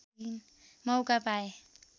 मौका पाए